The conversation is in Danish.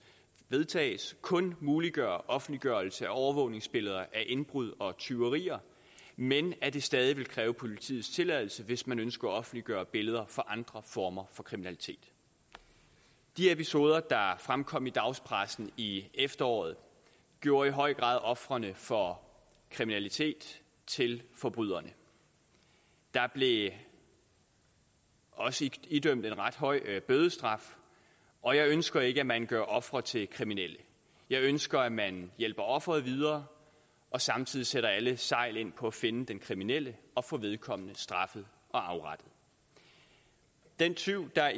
vedtages kun muliggør offentliggørelse af overvågningsbilleder af indbrud og tyverier men at det stadig væk kræver politiets tilladelse hvis man ønsker at offentliggøre billeder fra andre former for kriminalitet de episoder der fremkom i dagspressen i efteråret gjorde i høj grad ofrene for kriminalitet til forbryderne der blev også idømt en ret høj bødestraf og jeg ønsker ikke at man gør ofre til kriminelle jeg ønsker at man hjælper ofret videre og samtidig sætter alle sejl ind på at finde den kriminelle og få vedkommende straffet og afrettet den tyv der